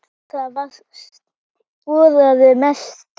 Það varðaði mestu.